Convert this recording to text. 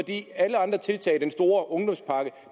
alle andre tiltag såsom den store ungdomspakke